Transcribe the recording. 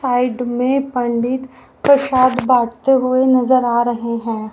Side में पंडित प्रसाद बाटते हुए नजर आ रहे हैं।